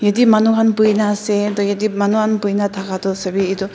te manu khan buina ase toh yatae manu khan boina thaka toh sawe.